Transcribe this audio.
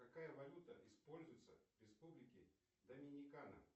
какая валюта используется в республике доминикана